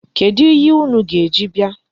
Kedụ ihe unu ga-eji bịa?